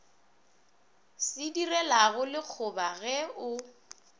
se direlago lekgoba ge o